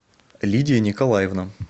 лидия николаевна